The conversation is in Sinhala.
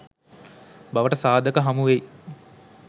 බවට සාධක හමුවෙයි.